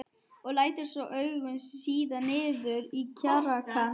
Og lætur svo augun síga niður á kragann.